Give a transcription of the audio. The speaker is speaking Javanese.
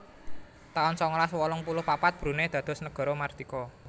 taun songolas wolung puluh papat Brunei dados negara mardika